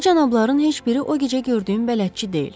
Bu cənabların heç biri o gecə gördüyüm bələdçi deyil.